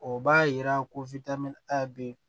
O b'a yira ko bɛ yen